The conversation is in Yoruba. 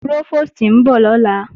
Prófòstì ń bọ̀ lọ́la